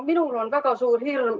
Minul on väga suur hirm.